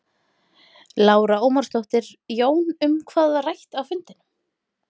Lára Ómarsdóttir: Jón, um hvað var rætt á fundinum?